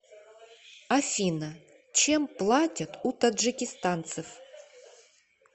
афина чем платят у таджикистанцев